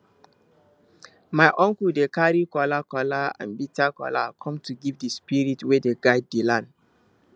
my uncle dey carry kola kola and bitter kola come to give the spirits wey dey guide the land